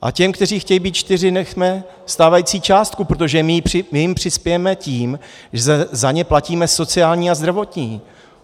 A těm, kteří chtějí být čtyři, nechme stávající částku, protože my jim přispějeme tím, že za ně platíme sociální a zdravotní.